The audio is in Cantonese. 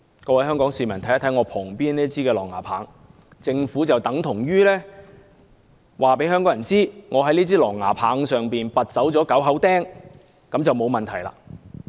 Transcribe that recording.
各位香港市民看看我旁邊這枝狼牙棒，政府等於告訴香港市民，只要在這枝狼牙棒上拔走9口釘便沒有問題。